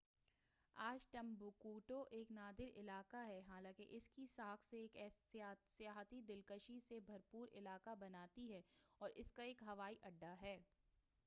آج ٹمبکٹو ایک نادار علاقہ ہے حالانکہ اس کی ساکھ اسے ایک سیاحتی دلکشی سے بھرپُور علاقہ بناتی ہے اور اس کا ایک ہوائی اڈّہ ہے